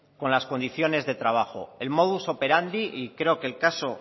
con las condiciones de trabajo el modus operandi y creo que el caso